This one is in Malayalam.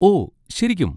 ഓ ശരിക്കും?